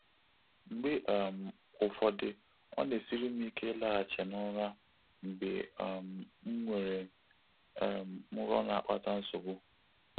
Mgbe um ụfọdụ, ọ na-esiri m ike ịlaghachi n’ụra mgbe um m nwere um nrọ na-akpata nsogbu.